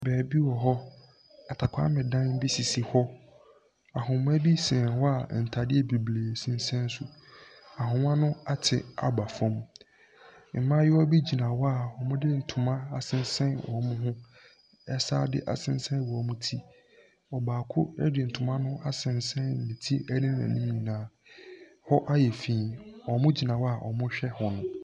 Baabi wɔhɔ. Atapaami bi ho. Ahoma bi sɛn hɔ a ntaadeɛ bebree sensɛn so. Ahoma no ate aba fam. Mmaayiwa bi gyina hɔ a ɔmo de ntoma asensɛn wɔmo ho. Ɛsan de asensɛn wɔmo ti. Ɔbaako ɛde ntoma no asensɛn ne ti ɛne n'anim nyinaa. Hɔ ayɛ fii. Ɔmo gyina hɔ a ɔmo hwɛ wɔn.